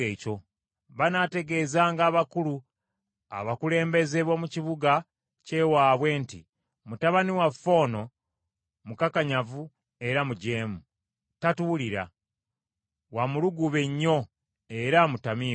Banaategeezanga abakulu abakulembeze b’omu kibuga kye waabwe nti, “Mutabani waffe ono mukakanyavu era mujeemu. Tatuwulira. Wa mulugube nnyo era mutamiivu.”